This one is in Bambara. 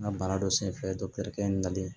N ka baara dɔ senfɛ kɛ n nalen